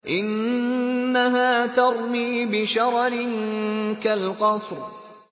إِنَّهَا تَرْمِي بِشَرَرٍ كَالْقَصْرِ